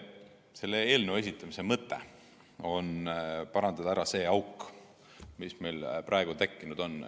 Selle seaduseelnõu esitamise mõte on parandada ära auk, mis meil praeguseks tekkinud on.